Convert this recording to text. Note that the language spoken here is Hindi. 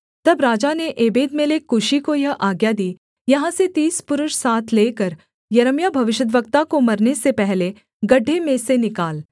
तब राजा ने एबेदमेलेक कूशी को यह आज्ञा दी यहाँ से तीस पुरुष साथ लेकर यिर्मयाह भविष्यद्वक्ता को मरने से पहले गड्ढे में से निकाल